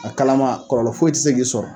A kalama, kɔlɔlɔ foyi tɛ se k'i sɔrɔ.